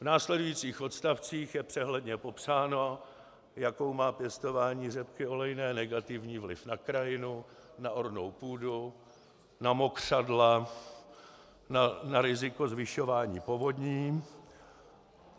V následujících odstavcích je přehledně popsáno, jaký má pěstování řepky olejné negativní vliv na krajinu, na ornou půdu, na mokřadla, na riziko zvyšování povodní.